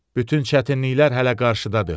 Bütün çətinliklər hələ qarşıdadır.